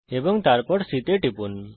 এবং তারপর বিন্দু C তে টিপুন